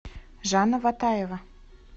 жанна ватаева